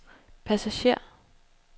passager